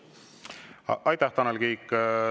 Aitäh, Tanel Kiik!